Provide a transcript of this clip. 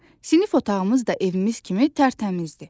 Sinif otağımız da evimiz kimi tərtəmizdir.